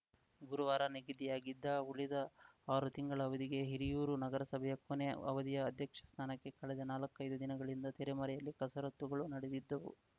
ಗುರುವಾರ ನಿಗದಿಯಾಗಿದ್ದ ಉಳಿದ ಆರು ತಿಂಗಳ ಅವಧಿಗೆ ಹಿರಿಯೂರು ನಗರಸಭೆಯ ಕೊನೆ ಅವಧಿಯ ಅಧ್ಯಕ್ಷ ಸ್ಥಾನಕ್ಕೆ ಕಳೆದ ನಾಲ್ಕೈದು ದಿನಗಳಿಂದ ತೆರೆಮರೆಯಲ್ಲಿ ಕಸರತ್ತುಗಳು ನಡೆದಿದ್ದವು